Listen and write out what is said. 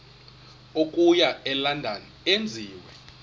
okuya elondon enziwe